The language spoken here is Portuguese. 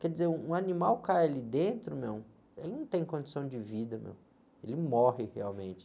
Quer dizer, um, um animal cai ali dentro, meu, ele não tem condição de vida, meu, ele morre realmente.